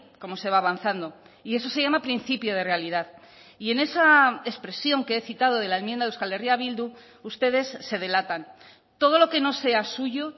como se va avanzando y eso se llama principio de realidad y en esa expresión que he citado de la enmienda de euskal herria bildu ustedes se delatan todo lo que no sea suyo